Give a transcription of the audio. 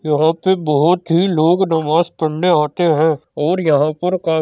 यहाँ पे बहोत ही लोग नमाज पढ़ने आते हैं और यहाँ पर का --